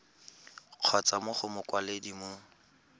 kgotsa mo go mokwaledi mo